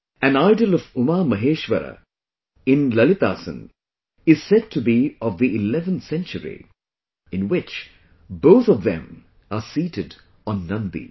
An idol of UmaMaheshwara in Lalitasan is said to be of the 11th century, in which both of them are seated on Nandi